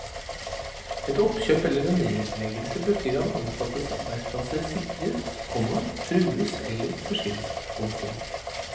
Et oppkjøp eller en nedleggelse betyr at ansattes arbeidsplasser sikres, komma trues eller forsvinner. punktum